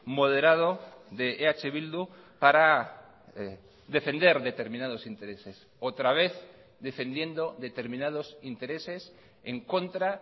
moderado de eh bildu para defender determinados intereses otra vez defendiendo determinados intereses en contra